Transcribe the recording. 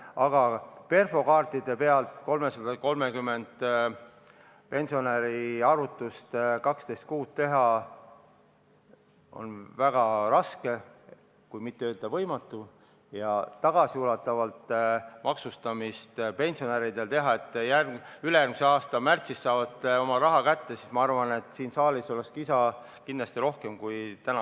Aga perfokaartide peal 330 pensionäri 12 kuu pensioni arvutust teha on väga raske kui mitte võimatu, ja kui teha tagasiulatuvalt, nii et ülejärgmise aasta märtsis saaksid nad oma raha kätte, siis ma arvan, et siin saalis oleks kisa kindlasti rohkem kui täna.